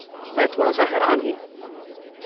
میں تھوڑا سا حیران ہوں۔